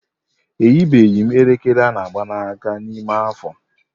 Eyibeghị m elekere ana ágbà na aka n'ime afọ.